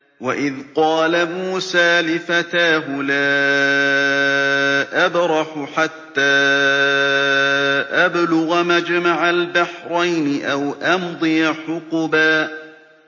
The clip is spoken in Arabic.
وَإِذْ قَالَ مُوسَىٰ لِفَتَاهُ لَا أَبْرَحُ حَتَّىٰ أَبْلُغَ مَجْمَعَ الْبَحْرَيْنِ أَوْ أَمْضِيَ حُقُبًا